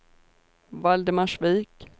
Valdemarsvik